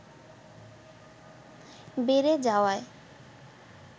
বেড়ে যাওয়ায়